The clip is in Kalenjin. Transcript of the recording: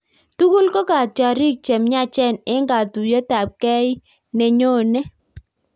Tukul ko katyarik chemyachen eng katuyet ab gei ii nenyonet